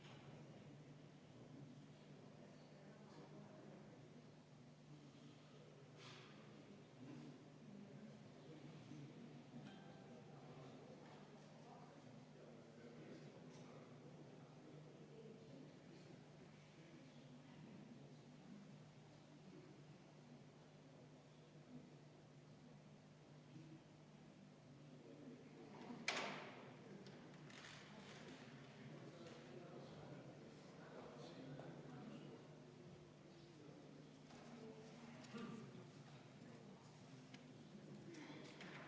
Seetõttu kohustatakse ettevõtjaid ehitusplatsil viibivaid töötajaid fikseerima, kirja panema nende sisenemist ehitusplatsile ja sealt lahkumist.